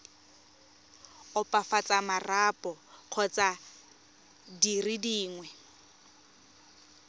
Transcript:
opafatsa marapo kgotsa dire dingwe